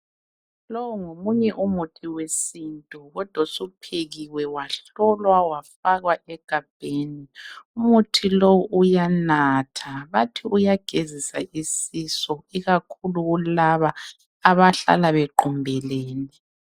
Lowu ngomunye umuthi wesintu kodwa osuphekiwe wahlolwa wafakwa egabheni. Umuthi lowu uyanatha, bathi uyagezisa isisu ikakhulu kulaba abahlala bequmbelene.